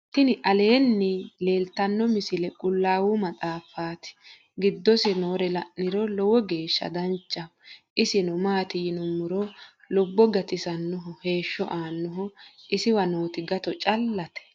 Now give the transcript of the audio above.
tini aleni leltano misile quulawu maatxafati. gidosi noore la'niro loowo gesha danchaho. isino mati yiinumoro luubo gattisanoho. heesho anoho isiwa notti gato calate.